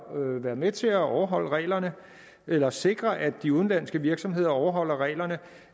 være med til at overholde reglerne eller sikre at de udenlandske virksomheder overholder reglerne